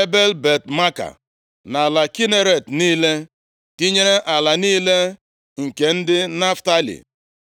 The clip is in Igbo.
Ebel-Bet-Maaka na ala Kineret niile, tinyere ala niile nke ndị Naftalị.